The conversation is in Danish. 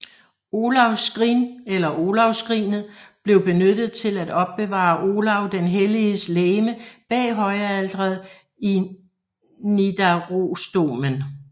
Olavs skrin eller Olavsskrinet blev benyttet til at opbevare Olav den Helliges legeme bag højalteret i Nidarosdomen